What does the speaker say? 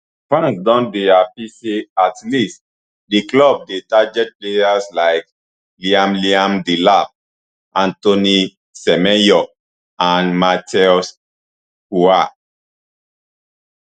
fans don dey happy say at least di club dey target players like liam liam delap antoine semenyo and matheus cunha